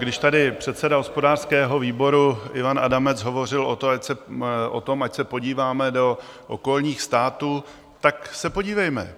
Když tady předseda hospodářského výboru Ivan Adamec hovořil o tom, ať se podíváme do okolních států, tak se podívejme.